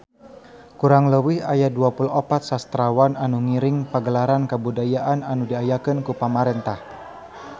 Kurang leuwih aya 24 sastrawan anu ngiring Pagelaran Kabudayaan anu diayakeun ku pamarentah